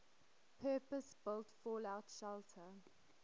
purpose built fallout shelter